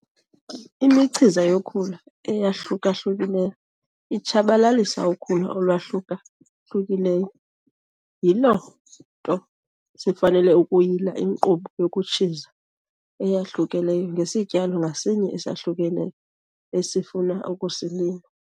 Imichiza yokhula eyahluka-hlukileyo itshabalalisa ukhula olwahluka-hlukileyo, yiloo nto sifanele ukuyila inkqubo yokutshiza eyahlukileyo ngesityalo ngasinye esahlukileyo esifuna ukusilima.